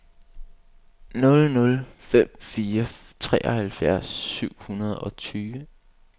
nul nul fem fire treoghalvfems syv hundrede og tyve